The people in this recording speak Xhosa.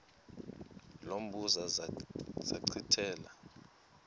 lo mbuzo zachithela